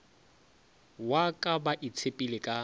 wa ka ba itshepile ka